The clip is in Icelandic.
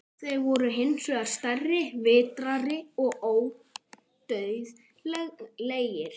Þeir voru hins vegar stærri, vitrari og ódauðlegir.